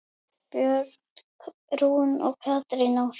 Björg Rún og Katrín Ósk.